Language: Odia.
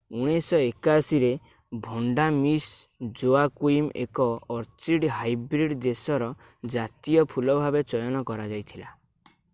1981 ରେ ଭଣ୍ଡା ମିସ ଜୋଆକୁଇମ ଏକ ଅର୍ଚିଡ ହାଇବ୍ରିଡ ଦେଶର ଜାତୀୟ ଫୁଲ ଭାବେ ଚୟନ କରଯାଇଥିଲା